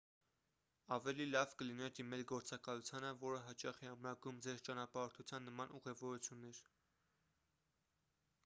ավելի լավ կլինի դիմել գործակալությանը որը հաճախ է ամրագրում ձեր ճանապարհորդության նման ուղևորություններ